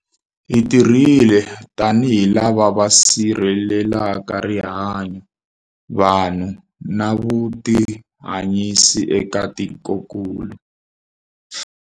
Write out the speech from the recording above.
Hi tirhile tanihi lava va sirhelelaka rihanyu, vanhu na vutihanyisi eka tikokulu.